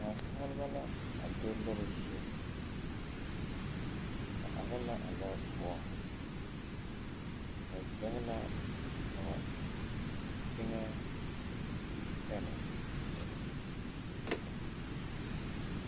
Naasaleba la a do lɔre zu ba are la a lɔre poɔŋ ba zege la a ba teŋɛ pɛne.